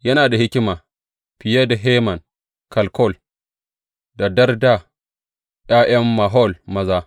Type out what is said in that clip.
Yana da hikima fiye da Heman, Kalkol da Darda, ’ya’yan Mahol maza.